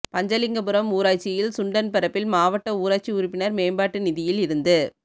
பஞ்சலிங்கபுரம் ஊராட்சியில் சுண்டன்பரப்பில் மாவட்ட ஊராட்சி உறுப்பினா் மேம்பாட்டு நிதியில் இருந்து